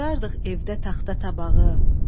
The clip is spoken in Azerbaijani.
doldurardıq evdə taxta tabağı,